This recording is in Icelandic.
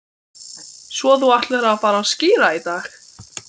Svo þú ætlar að fara að skíra í dag